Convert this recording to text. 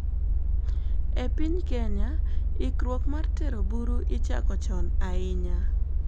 E piny Kenya, ikruok mar tero buru ichako chon ahinya.